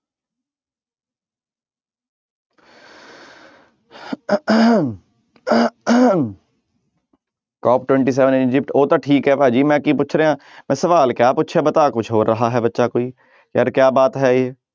Egypt ਉਹ ਤਾਂ ਠੀਕ ਹੈ ਭਾਜੀ ਮੈਂ ਕੀ ਪੁੱਛ ਰਿਹਾਂ ਮੈਂ ਸਵਾਲ ਕਿਆ ਪੁੱਛਿਆ ਬਤਾ ਕੁਛ ਹੋਰ ਰਹਾ ਹੈ ਬੱਚਾ ਕੋਈ ਯਾਰ ਕਿਆ ਬਾਤ ਹੈ ਇਹ।